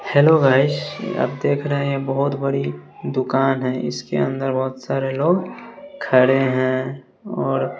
hello guys ये आप देख रहे हैं बहुत बड़ी दुकान है इसके अंदर बहुत सारे लोग खड़े हैं और--